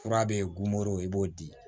Fura bɛ goro i b'o di